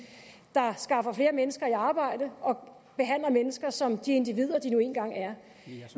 der skaffer flere mennesker i arbejde og behandler mennesker som de individer de nu engang er